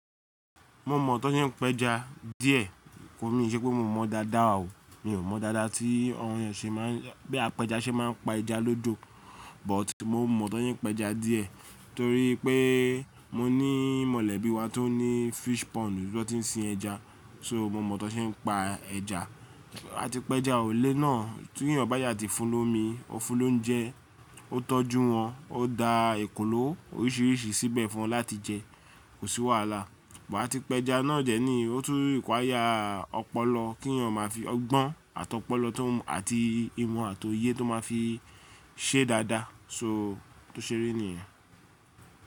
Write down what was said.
Mo mọ̀ ọ́n tó se ń péja díẹ̀, ko mí ìṣe pé mo mọ̀ dáadáa o. Mi ò mọ̀ dáadáa tí ohun ṣe máa, bí apẹja ṣe máa ń pa ẹja lódò, but mo mọ̀ ọ́n tó se ń péja díẹ̀ torí pé mo ní mọ̀lẹ́bí wa tó ní fish pond níbi tó ti ń sin ẹja, so mo mọ̀ ọ́n tó se ń pa ẹja. Àti pé ẹja ole náà tí ènìyàn bá yá ti fún lomi, ó fún lóúnjẹ, ó tọ́jú wọn, ó da ekòló oríṣìíríṣìí síbẹ̀ fún wọn láti jẹ, kò sí wàhálà. Wàá ti pé ẹja náà jẹ ní o tún require ọpọlọ kí ènìyàn máa fi ọgbọ́n àti ọpọlọ tó àti imọ̀ àti òye tó máa fi ṣe dáadáa so tó ṣe rí nìyẹn.